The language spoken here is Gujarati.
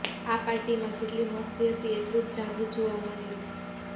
આ પાર્ટીમાં જેટલી મસ્તી હતી એટલું જ જાદુ જોવા મળ્યું